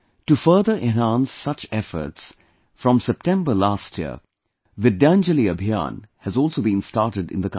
To further enhance such efforts, from September last year, Vidyanjali Abhiyan has also been started in the country